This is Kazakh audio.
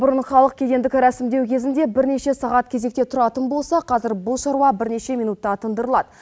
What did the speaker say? бұрын халық кедендік рәсімдеу кезінде бірнеше сағат кезекте тұратын болса қазір бұл шаруа бірнеше минутта тындырылады